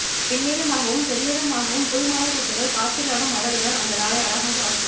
வெண்ணிறமாகவும் செந்நிறமாகவும் புல்மலர்க்கொத்துகள் காற்றிலாடும் அழகுதான் அந்த நாளை அழகாக ஆக்கியது